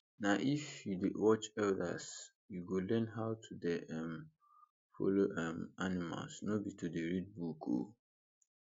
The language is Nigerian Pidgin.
na if you dey watch elders you go learn how to dey um follow um animals no be to dey read book o